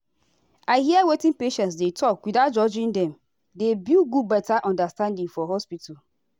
ah doctors and nurses suppose dey ask respectful questions about spiritual matter.